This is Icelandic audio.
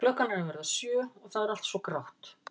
Klukkan er að verða sjö og það er allt svo grátt.